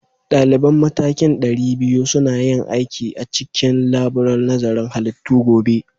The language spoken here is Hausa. Daliban matakin ɗari biyu suna yin aiki a cikin laburar nazarin halittu gobe